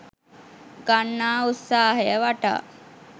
ගන්නා උත්සාහය වටා